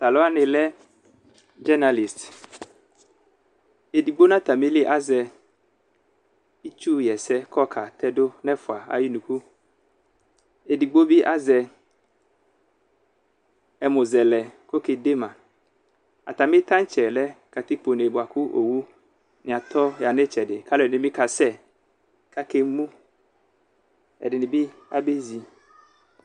Taluwa ni lɛ dzɛnalist ɛdigbo nu atamili azɛ itsu yɛsɛ kɔka tɛdu nu ɔlu ɛfua ayi unuku, ɛdigbo bi azɛ ɛmuzɛlɛ kɔke dema, atami tantsɛ lɛ katikpone buaku owu ni atɔ ya nu itsɛdi k'alɔ di ni bi ka sɛ, k'aka emu, ɛdi ni bi abe zi